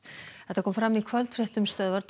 þetta kom fram í kvöldfréttum Stöðvar